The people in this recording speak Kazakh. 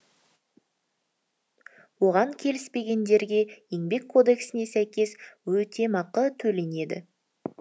оған келіспегендерге еңбек кодексіне сәйкес өтемақы төленеді